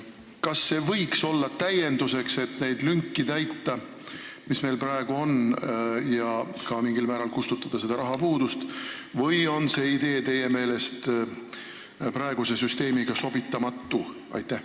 Kas see võiks olla täienduseks, et täita lünki, mis meil praegu on, ja mingil määral ka leevendada rahapuudust või on see idee praeguse süsteemiga sobitamatu?